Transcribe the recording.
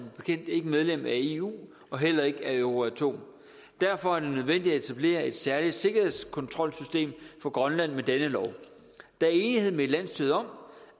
bekendt ikke medlem af eu og heller ikke af euratom derfor er det nødvendigt at etablere et særligt sikkerhedskontrolsystem for grønland med denne lov der er enighed med landsstyret om